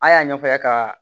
An y'a ɲɛfɔ a ye ka